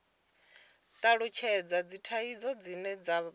talutshhedza dzithaidzo dzine dza kwama